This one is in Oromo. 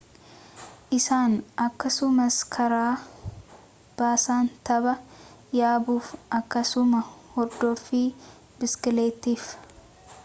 isaan akkasumas karaa baasan tabba yaabuuf akkasumas hordoffii biskileettiif